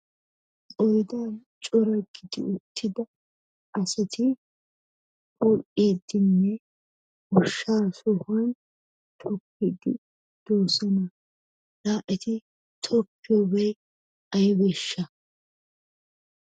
Qoyidaa coratiddi uttidaa asati goyidinne goshaa sohuwan tokiddi de'osonnaala etti tokiyoo bay aybeshaa